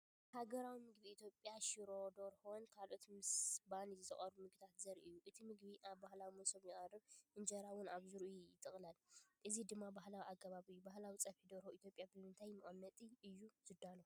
ሃገራዊ ምግቢ ኢትዮጵያ "ሽሮ ደርሆ"ን ካልኦት ምስ ባኒ ዝቐርቡ መግብታትን ዘርኢ እዩ። እቲ ምግቢ ኣብ ባህላዊ መሶብ ይቐርብ፣ እንጀራ እውን ኣብ ዙርያኡ ይጥቕለል፣ እዚ ድማ ባህላዊ ኣገባብ እዩ። ባህላዊ ፀብሒ ደርሆ ኢትዮጵያ ብምንታይ መቐመጢ እዩ ዝዳሎ?